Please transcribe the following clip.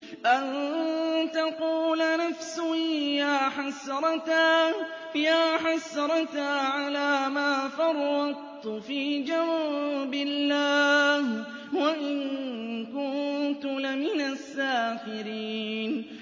أَن تَقُولَ نَفْسٌ يَا حَسْرَتَا عَلَىٰ مَا فَرَّطتُ فِي جَنبِ اللَّهِ وَإِن كُنتُ لَمِنَ السَّاخِرِينَ